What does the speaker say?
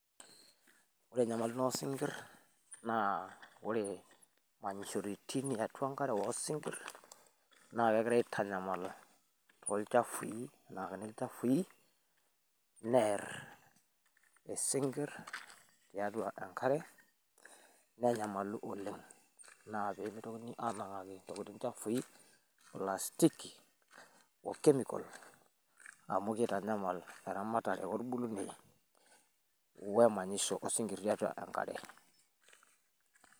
ore enyamali osinkirr naa wore manyishoritin ee atua isinkirr na kegirai aitanyamala tolchafui nerr isinkirr tiatua enkare nenyamalu oleng na kitokini ananangaki ntokiting chafui plastic oo chemical amu kitanyamal eramatare wolbulunei wemanyisho osinkiri tiatua enkare